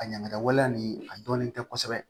A ɲaŋamiwaleya nin a dɔnnen tɛ kosɛbɛ